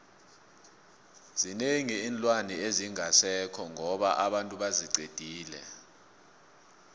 zinengi iinlwana ezingasekho ngoba abantu baziqedile